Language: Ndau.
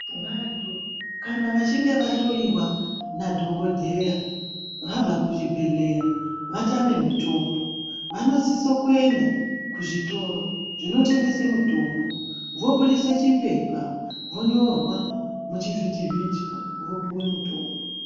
Vantu ,kana vachinge vahloyiwa nadhogodheya vabva kuzvibhedleya vatame mitombo, vanosise kuenda kuzvitoro zvinotengesa mitombo voburitse chipepa vonyorwa muchivhitivhiti vopiwe mitombo.